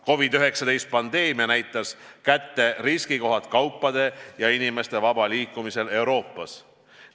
COVID-19 pandeemia näitas kätte riskikohad kaupade ja inimeste vabal liikumisel Euroopas.